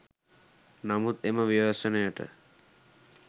නමුත් එම ව්‍යසනයට